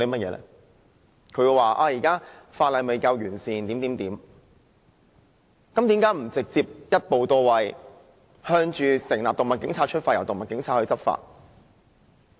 既然當局說現時的法例未夠完善，那為何不直接一步到位，朝成立"動物警察"出發，由他們執法？